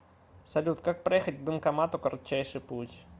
салют как проехать к банкомату кратчайший путь